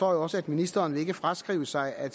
også at ministeren ikke vil fraskrive sig at